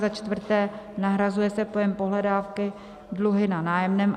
Za čtvrté, nahrazuje se pojem "pohledávky" "dluhy na nájemném".